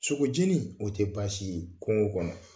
Sogo jeni, o tɛ baasi ye kungo kɔnɔ.